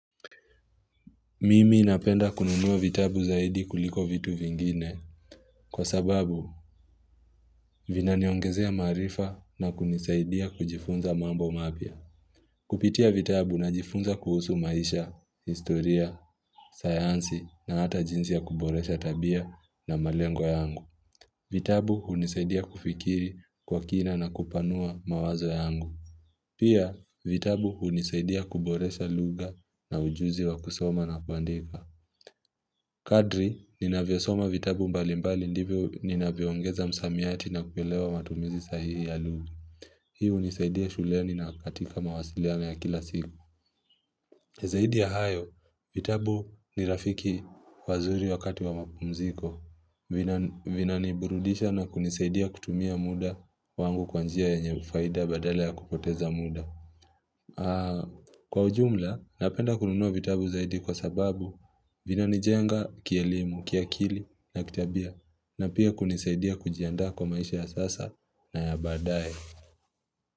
Mimi napenda kununuwa vitabu zaidi kuliko vitu vingine kwa sababu vina niongezea maarifa na kunisaidia kujifunza mambo mapya. Kupitia vitabu najifunza kuhusu maisha, historia, sayansi na hata jinsi ya kuboresha tabia na malengo yangu. Vitabu hunisaidia kufikiri kwa kina na kupanua mawazo yangu. Pia vitabu hunisaidia kuboresha luga na ujuzi wa kusoma na kuandika. Kadri, ninavyo soma vitabu mbalimbali ndivyo ninavyo ongeza msamiati na kuelewa matumizi sahihi ya lugu. Hii hunisaidia shuleni na katika mawasiliano ya kila siku. Zaidi ya hayo, vitabu ni rafiki wazuri wakati wa mapumziko. Vina niburudisha na kunisaidia kutumia muda wangu kwanjia yenye faida badala ya kupoteza muda. Kwa ujumla, napenda kununuq vitabu zaidi kwa sababu, vina nijenga, kielimu, ki akili na kitabia na pia kunisaidia kujianda kwa maisha ya sasa na ya baadaye.